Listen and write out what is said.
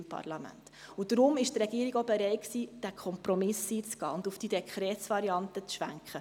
Deshalb war die Regierung auch bereit, diesen Kompromiss einzugehen und auf diese Dekretsvariante umzuschwenken.